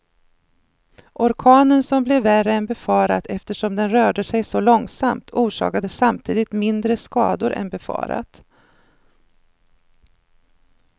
Orkanen som blev värre än befarat eftersom den rörde sig så långsamt, orsakade samtidigt mindre skador än befarat.